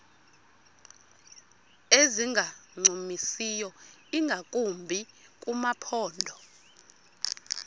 ezingancumisiyo ingakumbi kumaphondo